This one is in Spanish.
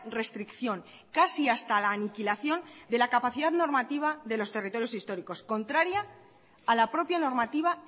restricción casi hasta la aniquilación de la capacidad normativa de los territorios históricos contraria a la propia normativa